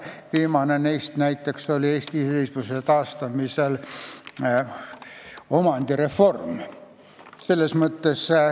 Viimane neist oli näiteks Eesti iseseisvuse taastamisel omandireform.